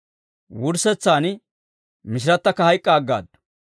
Wurssetsaan mishirattakka hayk'k'a aggaaddu.